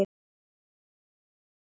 Bandið helga